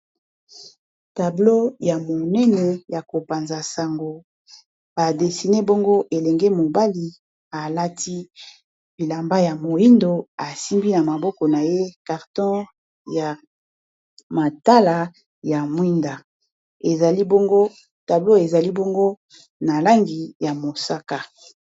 tablo ya monene ya kopanza sango badesine bongo elenge mobali alati bilamba ya moindo asimbi na maboko na ye carton ya matala ya mwinda tablo ezali bongo na langi ya mosaka